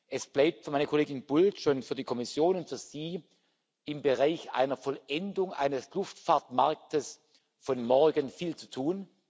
Es bleibt für meine Kollegin Bulc, für die Kommission, für Sie im Bereich einer Vollendung eines Luftfahrtmarkts von morgen viel zu tun.